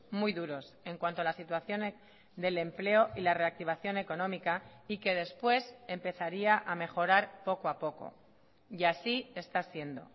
muy duros en cuanto a la situación del empleo y la reactivación económica y que después empezaría a mejorar poco a poco y así está siendo